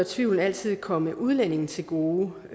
tvivlen altid komme udlændingen til gode og